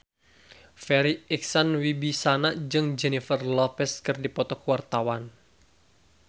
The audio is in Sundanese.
Farri Icksan Wibisana jeung Jennifer Lopez keur dipoto ku wartawan